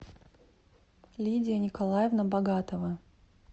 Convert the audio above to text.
лидия николаевна богатова